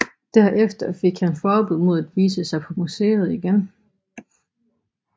Derefter fik han forbud mod at vise sig på museet igen